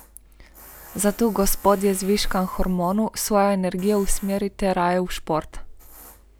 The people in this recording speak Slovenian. Zato, gospodje z viškom hormonov, svojo energijo usmerite raje v šport.